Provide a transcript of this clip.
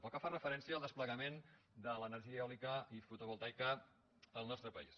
pel que fa referència al desplegament de l’energia eòlica i fotovoltaica al nostre país